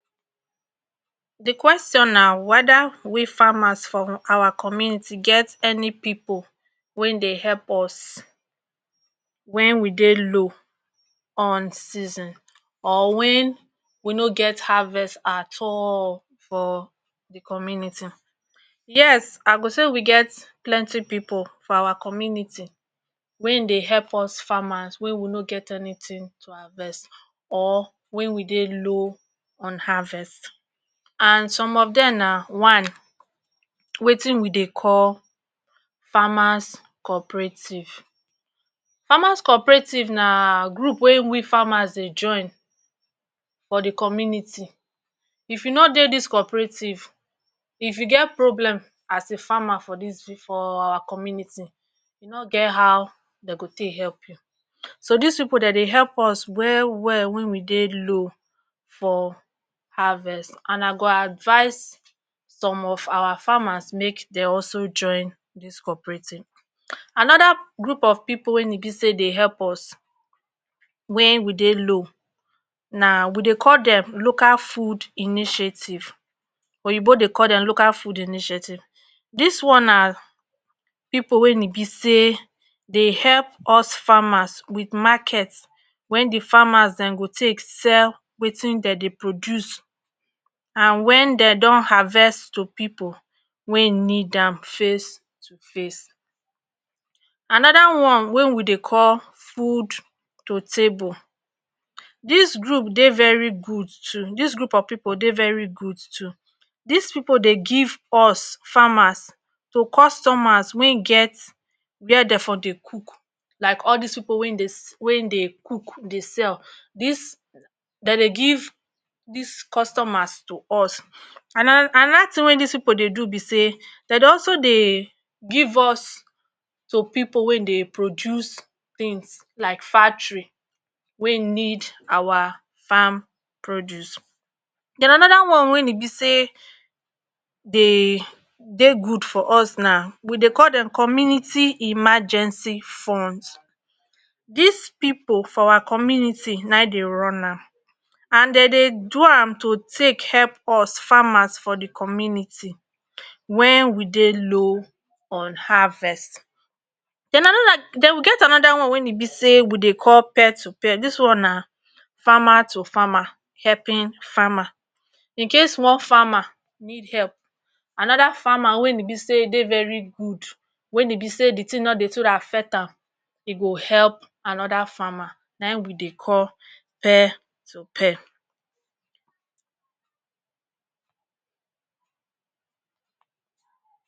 Di question na weda we farmers for our community get any pipu wein dey help us wen we dey low on season, or wen we no get harvest at all for di community? Yes, I go say we get plenti pipu for our community wein dey help us farmers wey we no get anytin to harvest or wen we dey low on harvest and some of dem na one, wetin we dey call farmers cooperative farmers. Cooperative na group wey we farmers dey join for di community. If you no dey dis cooperative if you geh problem as a farmer for our community, e no get how dem go tek help you. So, dis pipu dem dey help us well, well wen we dey low for harvest and I go advise some of our farmers mek dem also join dis cooperating. Anoda group of pipu wey bi say dey dey help us wen we dey low, na, we dey call dem local food initiative, oyinbo dey call dem local food initiative. Dis one na pipu wey e bi say dey help us farmers with market wen di farmers go tek sell wetin dem dey produce and wen dem don harvest to pipu wey nid am face to face. Anoda one wey we dey call food to table. Dis group of pipu dey very good too, dis group of pipu dey very good too. Dis pipu dey give us customers wey get where dem dey for dey cook, lak all dis pipu wey dey sell… wey dey cook dey sell. Dis… den dey give dis customers to us. Anoda tin wey dis pipu dey do bi say dem dey also dey give us to pipu wey dey produce tins lak factory, wey nid our farm produce. Den, anoda one wey e bi say dey dey good for us na we dey call dem community emergency funds. Dis pipu for our community na im dey run am and dem dey do am to tek help us farmers for de community wen we dey low on harvest, den, anoda..den, we get anoda one wey e bi say we dey call pair to pair dis one na farmer to farmer, helping farmer. In case one farmer need help, anoda farmer wey bi say e dey very good, wey bi say di tin no dey too affect am, e go help anoda farmer, na hin we dey call pair to pair